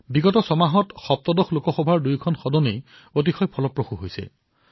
যোৱা ছমাহত ১৭তম লোকসভাৰ দুয়োটা সদন অতিশয় ক্ৰিয়াশীল আছিল